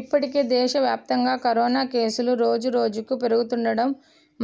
ఇప్పటికే దేశవ్యాప్తంగా కరోనా కేసులు రోజు రోజుకు పెరుగుతుండడం